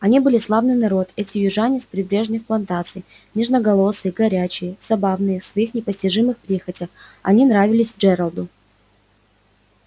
они были славный народ эти южане с прибрежных плантаций нежноголосые горячие забавные в своих непостижимых прихотях они нравились джералду